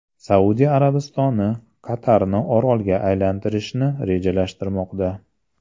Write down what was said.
Saudiya Arabistoni Qatarni orolga aylantirishni rejalashtirmoqda.